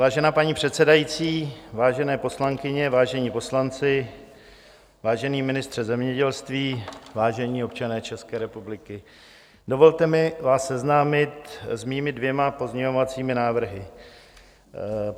Vážená paní předsedající, vážené poslankyně, vážení poslanci, vážený ministře zemědělství, vážení občané České republiky, dovolte mi vás seznámit s mými dvěma pozměňovacími návrhy.